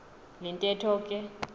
le ntetho ke